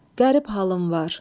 Qərib halın var.